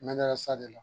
Mɛra sa de la